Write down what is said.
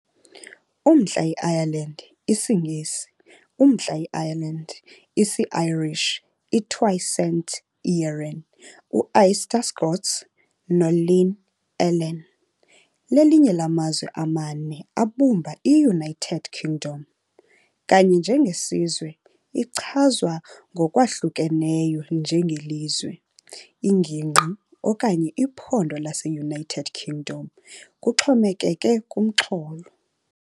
UMntla Ireland, IsiNgesi- "uMntla Ireland," isiIrish- "Tuaisceart Éireann", Ulster Scots- "Norlin Airlann", lelinye lamazwe amane abumba iUnited Kingdom. Kanye njengesizwe, ichazwa ngokwahlukeneyo njengelizwe, ingingqi okanye iphondo lase-United Kingdom, kuxhomekeke kumxholo.